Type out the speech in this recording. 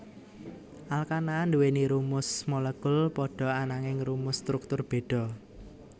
Alkana nduwèni rumus molekul padha ananging rumus struktur béda